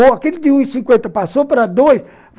Ou aquele de um cinquenta e passou para dois